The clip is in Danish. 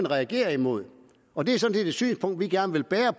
reagerer imod og det er sådan hvis synspunkt vi gerne bærer